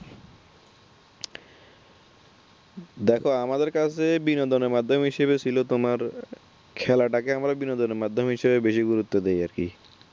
দেখো আমাদের কাছে বিনোদনের মাধ্যম হিসাবে ছিল তোমার খেলা টাকে আমরা বিনোদনের মাধ্যমে বেশি গুরুত্ব দিই আর কি।